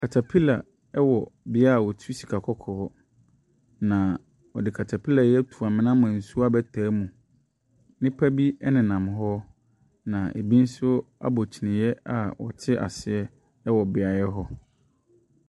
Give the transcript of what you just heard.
Catapiller wɔ bea a wɔtu sikakɔkɔɔ, na wɔde catapiller yi ato amena ama nsuo abɛtaa mu. Nnipa bi nenam hɔ, na bi nso abɔ kyiniiɛ a wɔte aseɛ wɔ beaeɛ hɔ.